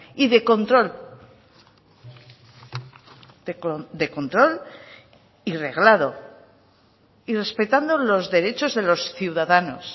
y de control de control y reglado y respetando los derechos de los ciudadanos